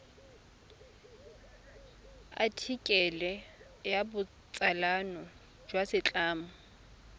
athikele ya botsalano jwa setlamo